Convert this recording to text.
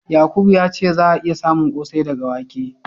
Yakubu ya ce za'a iya samun ƙosai daga wake.